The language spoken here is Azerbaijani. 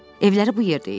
Evləri bu yerdə idi.